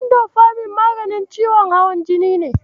Indofamin maganin ciwon hawan jini ne.